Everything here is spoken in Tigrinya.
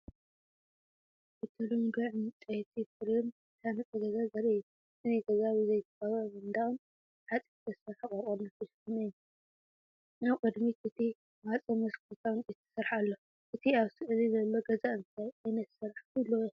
ብተለምዶ ዕንጨይቲ ፍሬም ዝተሃንጸ ገዛ ዘርኢ እዩ። እቲ ገዛ ብዘይተቐብአ መንደቕን ብሓጺን ዝተሰርሐ ቆርቆሮን ዝተሸፈነ እዩ። ኣብ ቅድሚት እቲ ማዕጾን መስኮት ካብ ዕንጨይቲ ዝተሰርሐ ኣሎ። እቲ ኣብ ስእሊ ዘሎ ገዛ እንታይ ዓይነት ስራሕ ክህልዎ ይኽእል?